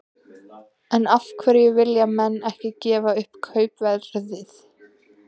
En af hverju vilja menn ekki gefa upp kaupverðið?